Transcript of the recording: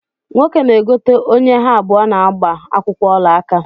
Nwoke na-egote onye ha abụọ na-gbaa akwụkwọ olaaka